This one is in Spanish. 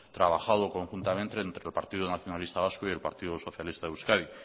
trabajado conjuntamente entre el partido nacionalista vasco y el partido socialista de euskadi